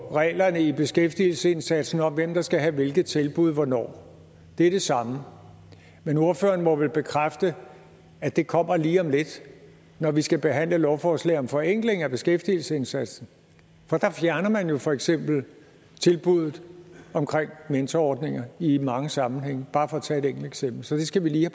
på reglerne i beskæftigelsesindsatsen om hvem der skal have hvilke tilbud hvornår det er det samme men ordføreren må vel bekræfte at det kommer lige om lidt når vi skal behandle lovforslag om forenkling af beskæftigelsesindsatsen for der fjerner man jo for eksempel tilbuddet om mentorordninger i mange sammenhænge bare for at tage et enkelt eksempel så det skal vi lige